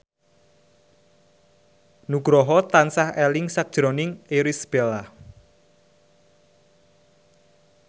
Nugroho tansah eling sakjroning Irish Bella